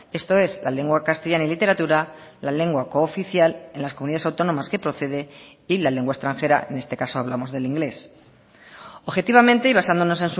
esto es la lengua castellana y literatura la lengua cooficial en las comunidades autónomas que procede y la lengua extranjera en este caso hablamos del inglés objetivamente y basándonos